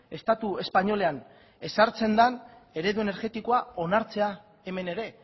estatu espainolean ezartzen den eredu energetikoa onartzea hemen ere